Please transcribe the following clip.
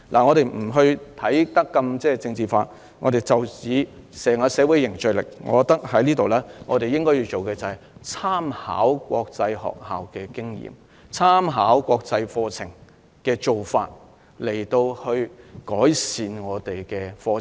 我們不想將這個問題政治化，但就社會凝聚力而言，我們應該參考國際學校的經驗和國際課程的做法，以改善本地教育和課程。